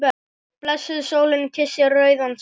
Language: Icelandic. Blessuð sólin kyssir rauðan sæ.